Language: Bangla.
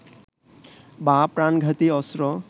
বা প্রাণঘাতী অস্ত্র